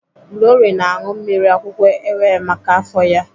Glory na-aṅụ mmiri akwụkwọ ewe maka afọ ya.